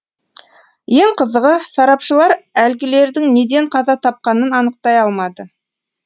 ең қызығы сарапшылар әлгілердің неден қаза тапқанын анықтай алмады